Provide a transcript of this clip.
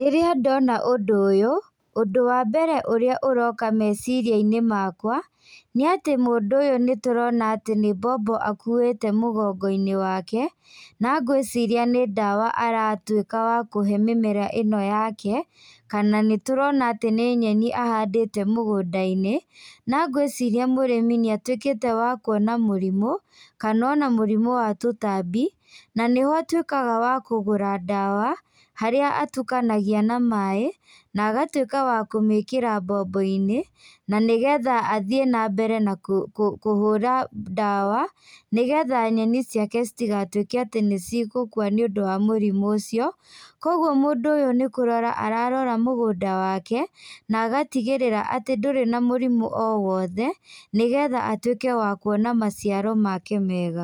Rĩrĩa ndona ũndũ ũyũ, ũndũ wa mbere ũrĩa ũroka meciriainĩ makwa, nĩatĩ mũndũ ũyũ nĩtũrona atĩ nĩ bombo akuĩte mũgongoinĩ wake, na ngwĩciria nĩ ndawa aratuĩka wa kũhe mĩmera ĩno yake, kana nĩtũrona atĩ nĩ nyeni ahandĩte mũgũndainĩ, na ngwĩciria mũrĩmi nĩatuĩkĩte wa kuona mũrimũ, kana ona mũrimũ wa tũtambi, na nĩho atuĩkaga wa kũgũra ndawa, harĩa atukanagia na maĩ, na agatuĩka wa kũmĩkĩra mbomboinĩ, na nĩgetha athiĩ nambere na kũ kũ kũhũra ndawa, nĩgetha nyeni ciake citigatuĩke atĩ nĩcigũkua nĩũndũ wa mũrimũ ũcio, koguo mũndũ ũyũ nĩkũrora ararora mũgũnda wake, na agatigĩrĩra atĩ ndũrĩ na mũrimũ o wothe, nĩgetha atuĩke wa kũona maciaro make mega.